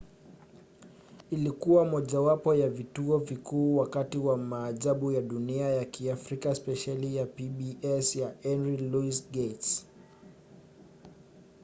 ilikuwa mojawapo ya vituo vikuu wakati wa maajabu ya dunia ya kiafrika spesheli ya pbs ya henry louis gates.